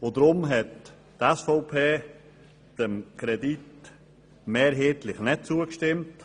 Darum hat die SVP dem Kredit mehrheitlich nicht zugestimmt.